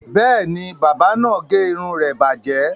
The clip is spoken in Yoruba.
Bẹ́ẹ̀ ni, bábà náà gé irun rẹ bàjẹ́.